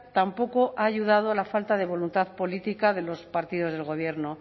tampoco ha ayudado la falta de voluntad política de los partidos del gobierno